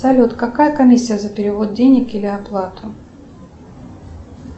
салют какая комиссия за перевод денег или оплату